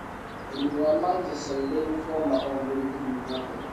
Mũrimũ wa Mantle cell lymphoma ũngĩrũgĩrio atĩa?